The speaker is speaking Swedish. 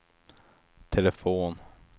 telefon